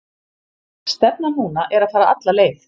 Stefnan núna er að fara alla leið.